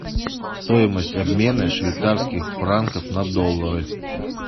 стоимость обмена швейцарских франков на доллары